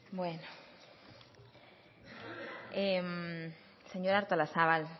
bueno señora artolazabal